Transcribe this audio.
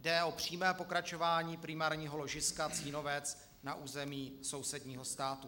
Jde o přímé pokračování primárního ložiska Cínovec na území sousedního státu.